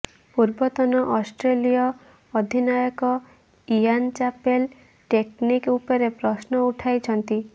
ପୂର୍ବତନ ଅଷ୍ଟ୍ରେଲୀୟ ଅଧିନାୟକ ଇଆନ ଚାପେଲ ଟେକ୍ନିକ୍ ଉପରେ ପ୍ରଶ୍ନ ଉଠାଇଛନ୍ତି